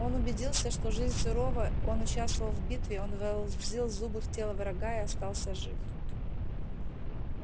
он убедился что жизнь сурова он участвовал в битве он вонзил зубы в тело врага и остался жив